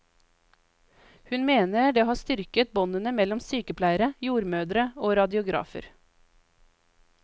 Hun mener det har styrket båndene mellom sykepleiere, jordmødre og radiografer.